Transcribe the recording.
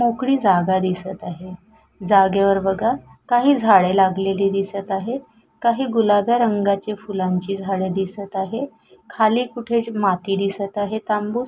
मोकळी जागा दिसत आहे जागेवर बघा काही झाडे लागलेली दिसत आहे काही गुलाब्या रंगाची फुलांची झाड दिसत आहे खाली कुठे माती दिसत आहे तांबूस.